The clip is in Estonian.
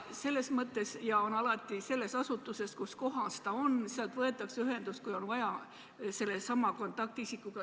Ja sellest asutusest, kuskohas inimene on, võetakse ühendust, kui on vaja, sellesama kontaktisikuga.